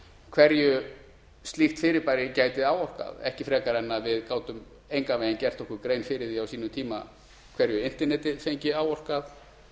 hverju slíkt fyrirbæri gæti áorkað ekki frekar en við gátum engan veginn gert okkur grein fyrir því á sínum tíma hverju internetið fengi áorkað